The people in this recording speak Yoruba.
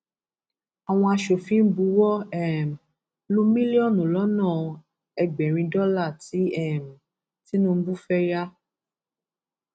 àwọn aṣòfin buwọ um lu mílíọnù lọnà ẹgbẹrin dọlà tí um tinubu fẹẹ yà